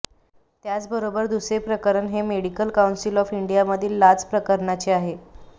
त्याचबरोबर दुसरे प्रकरण हे मेडिकल काऊन्सिल ऑफ इंडियामधील लाच प्रकरणाचे आहे